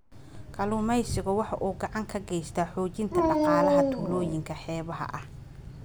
Kalluumaysigu waxa uu gacan ka geystaa xoojinta dhaqaalaha tuulooyinka xeebaha ah.